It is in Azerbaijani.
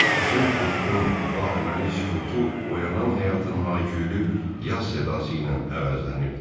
Qışın tutqun vahəməli sükutu oyanan həyatın hay-küylü yaz sədası ilə əvəzlənirdi.